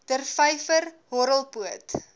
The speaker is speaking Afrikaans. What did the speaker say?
der vyver horrelpoot